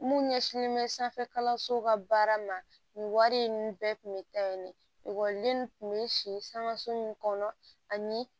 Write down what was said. Mun ɲɛsinnen bɛ sanfɛ kalansow ka baara ma nin wari in bɛɛ tun bɛ taa yen kun bɛ si sanga sun kɔnɔ ani